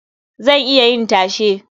Zan iya yin tashe.